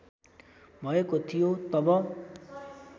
भएको थियो तब